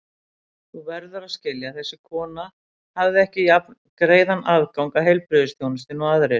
Þú verður að skilja að þessi kona hafði ekki jafngreiðan aðgang að heilbrigðisþjónustu og aðrir.